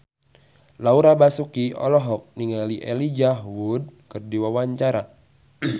Laura Basuki olohok ningali Elijah Wood keur diwawancara